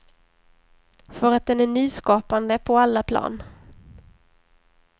För att den är nyskapande på alla plan.